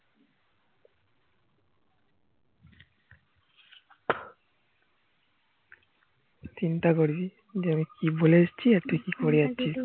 চিন্তা করবি যে আমি কি বলেএসেছি আর তুই কি করে যাচ্ছিস